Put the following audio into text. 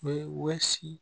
wɔsi